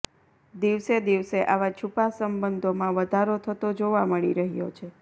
દિવસે દિવસે આવા છૂપા સંબંધોમાં વધારો થતો જોવા મળી રહ્યો છે